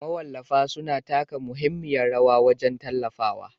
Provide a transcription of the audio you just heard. Mawallafa suna taka muhimmiyar rawa wajen tallatawa